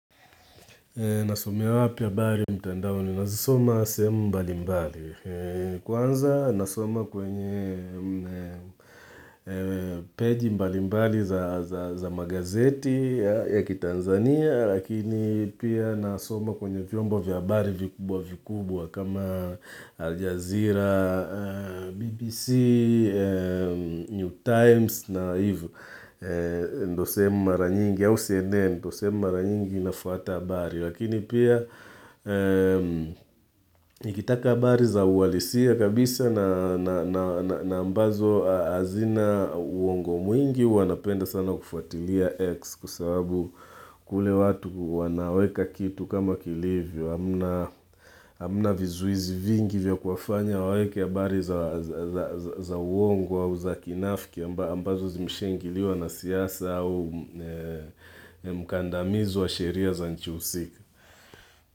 Nasomewa pia abari mtandaoni na zisoma sehemu mbali mbali. Kwanza nasoma kwenye peji mbali mbali za magazeti ya kitanzania, Lakini pia nasoma kwenye vyombo vya abari vikubwa vikubwa kama Aljazeera, BBC, New Times na ndo sehemu mara nyingi, au CNN, ndio sehemu mara nyingi nafuata abari. Lakini pia nikitaka habari za uhalisia kabisa na ambazo hazina uongo mwingi huwa napenda sana kufuatilia X kwa sababu kule watu wanaweka kitu kama kilivyo amna vizuizi vingi vya kuwafanya waweke habari za uongo au za kinafiki ambazo zimesha ingiliwa na siyasa au mkandamizo wa sheria za nchi husika.